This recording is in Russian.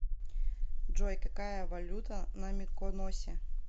джой какая валюта на миконосе